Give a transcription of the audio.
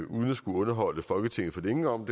uden at skulle underholde folketinget for længe om